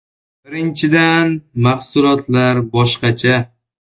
Birinchidan, mahsulotlar boshqacha.